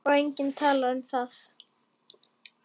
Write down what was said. Og enginn talar um það!